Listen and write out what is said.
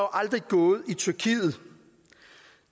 aldrig gået i tyrkiet